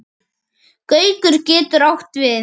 Gaukur getur átt við